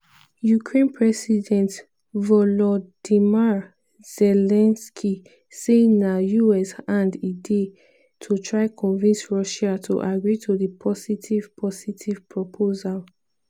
ukraine president volodymyr zelensky say na us hand e dey to try convince russia to agree to di "positive" "positive" proposal.